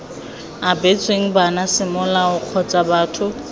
abetsweng bana semolao kgotsa batho